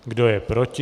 Kdo je proti?